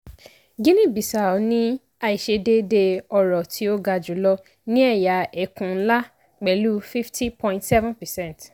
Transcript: guinea bissau ní àìsedéédéé ọrọ̀ tí ó ga jùlọ ní ẹ̀yà ẹkùn ńlá pẹ̀lú fifty point seven percent